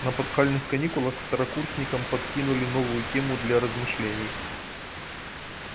на пасхальных каникулах второкурсникам подкинули новую тему для размышлений